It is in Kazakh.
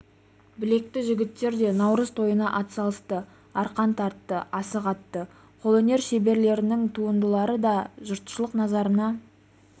білекті жігіттер де наурыз тойына атсалысты арқан тартты асық атты қолөнер шеберлерінің туындылары да жұртшылық назарына